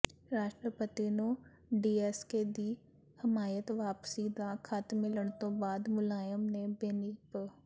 ਰਾਸ਼ਟਰਪਤੀ ਨੂੰ ਡੀਐਮਕੇ ਦੀ ਹਮਾਇਤ ਵਾਪਸੀ ਦਾ ਖ਼ਤ ਮਿਲਣ ਤੋਂ ਬਾਅਦ ਮੁਲਾਇਮ ਨੇ ਬੇਨੀ ਪ